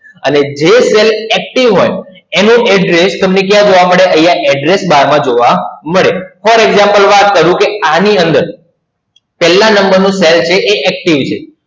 અને જે cell active હોય એનું address તમને ક્યાં જોવા મળે? અહિયાં Address Bar માં જોવા મળે. For Example વાત કરું કે આની અંદર છેલ્લા number નું cell છે એ active છે.